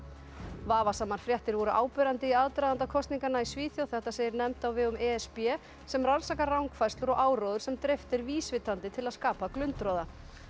vafasamar fréttir voru áberandi í aðdraganda kosninganna í Svíþjóð þetta segir nefnd á vegum e s b sem rannsakar rangfærslur og áróður sem dreift er vísvitandi til að skapa glundroða